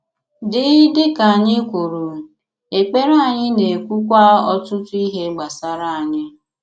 Dị Dị ka anyị kwùrù, èkpere anyị na-ekwukwa ọtụtụ ihé gbásárá anyị.